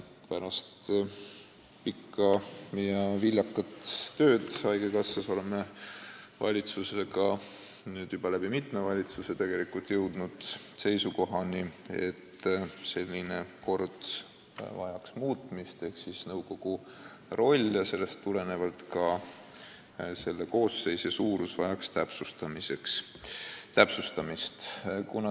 Pärast pikka ja viljakat tööd haigekassas oleme valitsuses – nüüd juba mitmes valitsuses tegelikult – jõudnud seisukohale, et selline kord vajaks muutmist ehk nõukogu roll ja sellest tulenevalt ka selle koosseisu suurus vajaks täpsustamist.